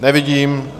Nevidím.